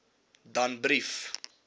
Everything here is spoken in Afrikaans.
danbrief